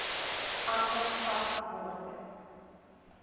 ander vaste bates